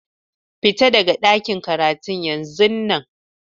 Fita daga ɗakin karatun yanzun nan!